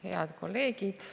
Head kolleegid!